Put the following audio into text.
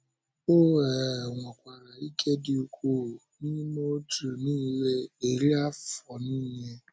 O um nwekwara ike dị ukwuu n’ime òtù niile eri afọ niile.